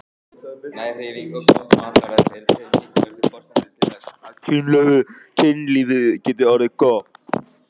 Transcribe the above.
Næg hreyfing og gott mataræði eru tvær mikilvægustu forsendur þess að kynlífið geti orðið gott.